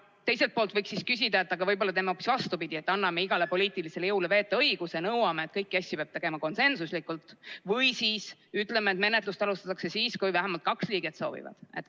Teiselt poolt võiks siis küsida, et võib-olla teeme siis hoopis vastupidi, et anname igale poliitilisele jõule vetoõiguse, nõuame, et kõiki asju peab tegema konsensuslikult, või siis ütleme, et menetlust alustatakse siis, kui vähemalt kaks liiget soovivad.